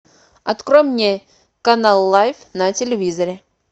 открой мне канал лайф на телевизоре